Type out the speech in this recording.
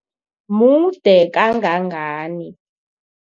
Mude kangangani?